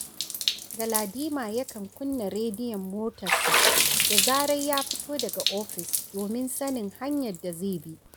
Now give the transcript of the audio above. Galadima yakan kunna rediyon motarsa, da zarar ya fito daga ofis domin sanin hanyar da zai bi